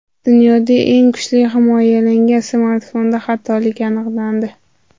Dunyoda eng kuchli himoyalangan smartfonda xatolik aniqlandi.